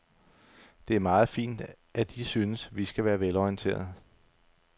Det er meget fint, at I synes, vi skal være velorienterede.